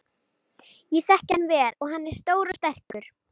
Samanburður Íslandi óhagstæður